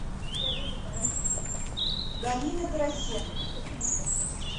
галины тарасенко